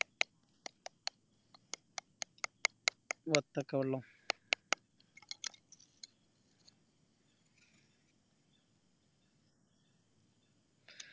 വത്തക്ക വെള്ളം